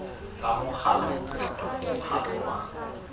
tsa mokgatlo kapa mokgatlo wa